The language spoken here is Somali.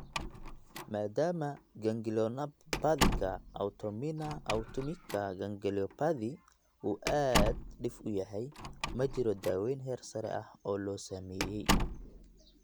Maadaama ganglionopathika autoimmina autonomika ganglionopathy uu aad dhif u yahay, ma jiro daaweyn heersare ah oo la sameeyay.